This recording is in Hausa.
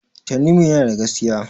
Tanimu yana da gaskiya.